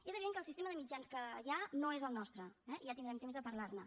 és evident que el sistema de mitjans que hi ha no és el nostre eh ja tindrem temps de parlar ne